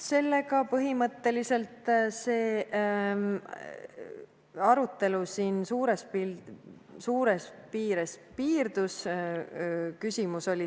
Sellega põhimõtteliselt arutelu suures piires piirdus.